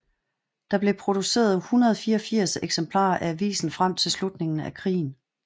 Der blev produceret 184 eksemplarer af avisen frem til slutningen af krigen